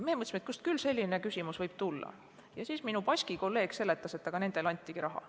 Me mõtlesime, kust küll selline küsimus võib tulla, ja siis minu baski kolleeg seletas, et nendel antigi raha.